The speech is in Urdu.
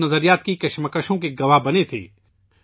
وہ نظریات کے تصادم کے گواہ بنے تھے